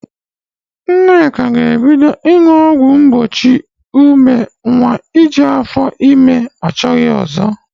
Nneka ga-ebido ịṅụ ọgwụ mgbochi ịmụ nwa iji afó ime achóghị ọzó.